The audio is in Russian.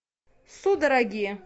судороги